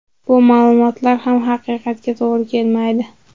Bu ma’lumotlar ham haqiqatga to‘g‘ri kelmaydi.